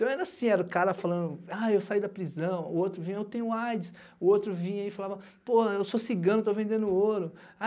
Então, era assim, era o cara falando, ah, eu saí da prisão, o outro vinha, eu tenho AIDS, o outro vinha e falava, pô, eu sou cigano, estou vendendo ouro.